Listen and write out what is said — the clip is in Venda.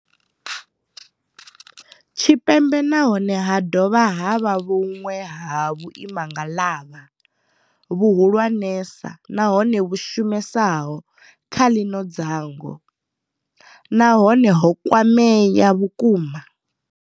Tshipembe nahone ha dovha ha vha vhuṅwe ha vhuimangaḽavha, vhuhulwa nesa nahone vhu shumesaho kha ḽino dzhango, na hone ho kwamea vhukuma.